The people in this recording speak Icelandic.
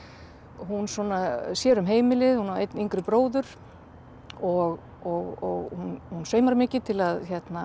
hún svona sér um heimilið hún á einn yngri bróður og hún saumar mikið til að